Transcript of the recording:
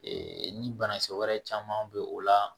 ni banakisɛ wɛrɛ caman bɛ o la